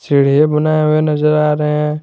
Video बनाए हुए नजर आ रहे हैं।